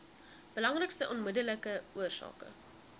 belangrikste onmiddellike oorsake